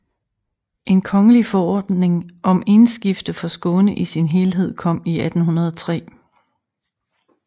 En kongelig forordning om enskifte for Skåne i sin helhed kom i 1803